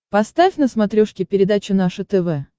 поставь на смотрешке передачу наше тв